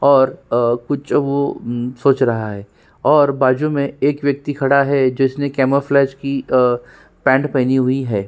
और अ वो कुछ सोच रहा है और बाजू में एक व्यक्ति खड़ा है जिसने कामोफ्लाज की पैंट पहनी हुई है।